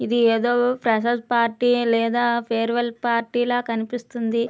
ఇది ఏదో freshers party లేదా ఫేర్వెల్ పార్టీ ల కనిపిస్తుంది.